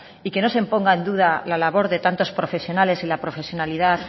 y que no se ponga en duda la labor de tantos profesionales y la profesionalidad